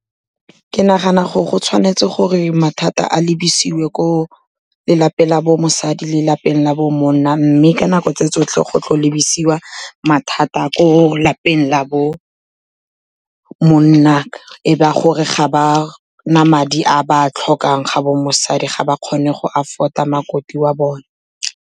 Ke nagana gore go tshwanetse gore mathata a lebesiwe ko lelapeng la bo mosadi le lapeng la bo monna, mme ka nako tse tsotlhe go tlo lebesiwa mathata ko lapeng la bo monna, e ba gore ga ba na madi a ba tlhokang ga bo mosadi, ga ba kgone go afford-a makoti wa bone.